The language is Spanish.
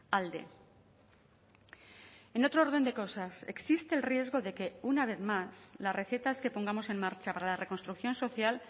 alde en otro orden de cosas existe el riesgo de que una vez más las recetas que pongamos en marcha para la reconstrucción social